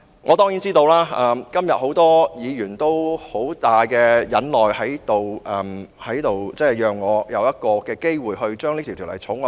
我當然知道今天很多議員都十分忍耐，讓我有機會二讀《條例草案》。